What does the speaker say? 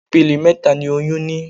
Ipele mẹta ni oyún ní.